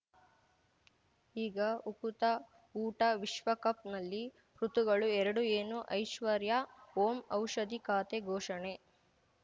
ಈಗ ಉಕುತ ಊಟ ವಿಶ್ವಕಪ್‌ನಲ್ಲಿ ಋತುಗಳು ಎರಡು ಏನು ಐಶ್ವರ್ಯಾ ಓಂ ಔಷಧಿ ಖಾತೆ ಘೋಷಣೆ